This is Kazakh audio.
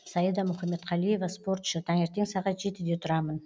саида мұхаметқалиева спортшы таңертең сағат жетіде тұрамын